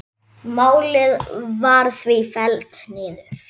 Málið var því fellt niður.